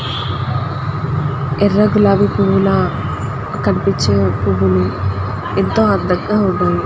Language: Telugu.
ఎర్ర గులాబీ పూవుల కనిపించే పూవులు ఎంత అందంగా ఉంటుంది.